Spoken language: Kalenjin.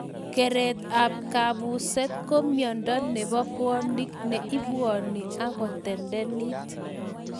Keret ap kapuset ko miondo nebo pwonik ne ipwani akotendenit